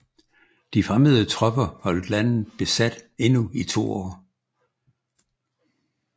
De fremmede tropper holdt landet besat endnu i 2 år